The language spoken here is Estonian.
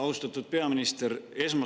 Austatud peaminister!